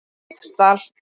Feigsdal